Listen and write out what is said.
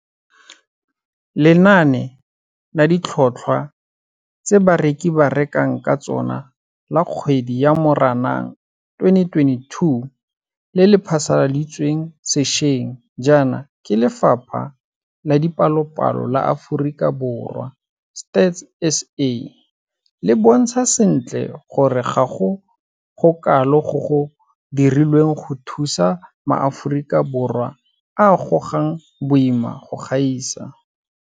Lenane la Ditlhotlhwa tse Bareki ba Rekang ka Tsona la Kgwedi ya Moranang 2022 le le phasaladitsweng sešweng jaana ke Lefapha la Dipalopalo la Aforika Borwa, Stats SA, le bontsha sentle gore ga go gokalo go go dirilweng go thusa maAforika Borwa a a gogang boima go gaisa.